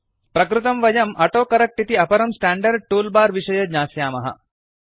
प्रकृतं वयं ऑटोकरेक्ट इति अपरं स्टांडर्ड टूल बार विषये ज्ञास्यामः